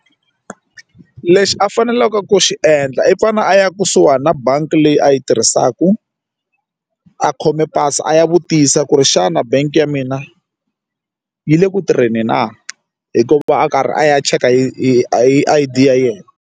Lexi a faneleke ku xi endla i fane a ya kusuhani na bangi leyi a yi tirhisaka a khome pasi a ya vutisa ku ri xana bangi ya mina yi le ku tirheni na hikuva a karhi a ya cheka hi a I_D ya yena.